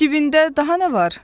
Cibində daha nə var?